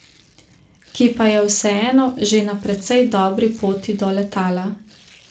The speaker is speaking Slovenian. Ki pa je vseeno že na precej dobri poti do letala.